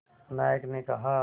नायक ने कहा